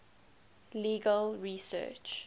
legal research